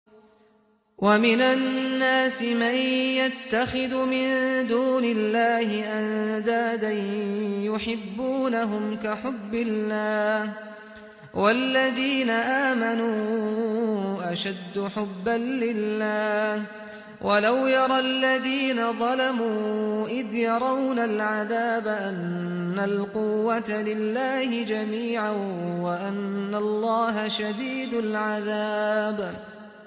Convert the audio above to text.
وَمِنَ النَّاسِ مَن يَتَّخِذُ مِن دُونِ اللَّهِ أَندَادًا يُحِبُّونَهُمْ كَحُبِّ اللَّهِ ۖ وَالَّذِينَ آمَنُوا أَشَدُّ حُبًّا لِّلَّهِ ۗ وَلَوْ يَرَى الَّذِينَ ظَلَمُوا إِذْ يَرَوْنَ الْعَذَابَ أَنَّ الْقُوَّةَ لِلَّهِ جَمِيعًا وَأَنَّ اللَّهَ شَدِيدُ الْعَذَابِ